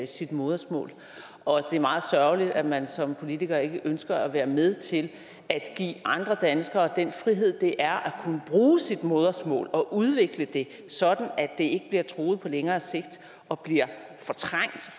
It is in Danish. sit modersmål og det er meget sørgeligt at man som politiker ikke ønsker at være med til at give andre danskere den frihed det er at kunne bruge sit modersmål og udvikle det sådan at det bliver truet på længere sigt og bliver fortrængt